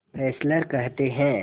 Fessler कहते हैं